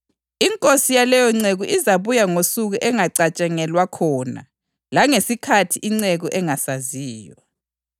Inkosi yaleyonceku izabuya ngosuku engacatshangelwa khona langesikhathi inceku engasaziyo.